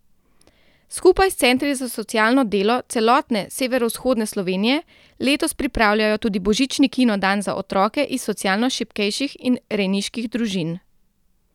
Skupaj s centri za socialno delo celotne severovzhodne Slovenije letos pripravljajo tudi božični kino dan za otroke iz socialno šibkejših in rejniških družin.